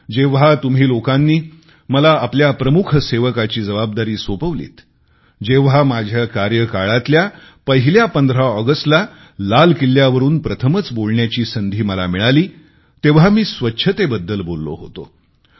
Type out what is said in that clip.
जेव्हा तुम्ही लोकांनी मला आपल्या प्रमुख सेवकाची जबाबदारी सोपवलीत जेव्हा माझ्या कार्यकाळातल्या पहिल्या 15 ऑगस्टला लाल किल्ल्यावरून प्रथमच बोलण्याची संधी मला मिळाली त्यावेळी मी स्वच्छतेबद्दल बोललो होतो